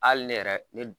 Hali ne yɛrɛ ne